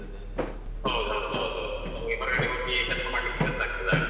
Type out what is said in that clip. ಹೌದು ಹೌದು ಹೌದು ಹೌದು ನಮ್ಗೆ ಹೊರಗಡೆ ಹೋಗಿ ಕೆಲಸ ಮಾಡ್ಲಿಕೆ ಕಷ್ಟ ಆಗ್ತದೆ ಆಗ.